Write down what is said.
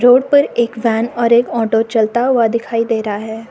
Road पर एक van और एक ऑटो चलता हुआ दिखाई दे रहा है।